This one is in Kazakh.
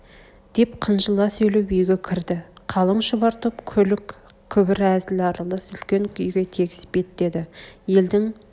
деп қынжыла сөйлеп үйге кірді қалың шұбар топ күлік-күбір әзіл аралас үлкен үйге тегіс беттеді елдің